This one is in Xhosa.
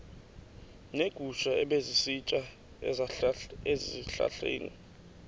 neegusha ebezisitya ezihlahleni